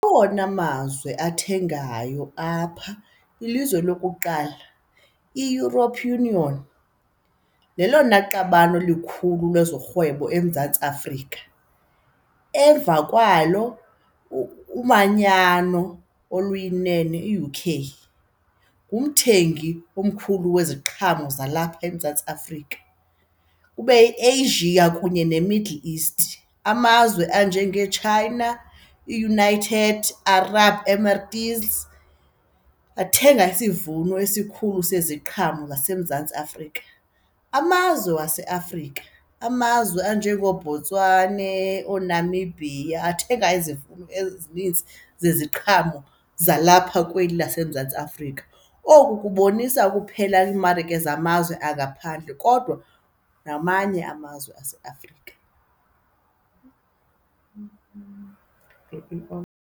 Awona mazwe athengayo apha ilizwe lokuqala iEuropean Union lelona qabane likhulu lezorhwebo eMzantsi Afrika. Emva kwalo, umanyano oluyinene i-U_K ngumthengi omkhulu weziqhamo zalapha eMzantsi Afrika. Kube yiAsia kunye neMiddle East. Amazwe anjengeChina, iUnited, Arab Emirates athenga isivuno esikhulu seziqhamo zaseMzantsi Afrika. Amazwe waseAfrika, amazwe anjengooBotswane, ooNamibia athenga izivuno ezinintsi zeziqhamo zalapha kweli laseMzantsi Afrika. Oku kubonisa ukuphela kwimarike zamazwe angaphandle kodwa namanye amazwe aseAfrika.